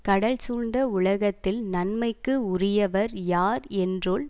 கடல் சூழ்ந்த உலகத்தில் நன்மைக்கு உரியவர் யார் என்றொல்